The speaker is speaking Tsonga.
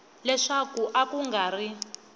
leswaku a ku nga ri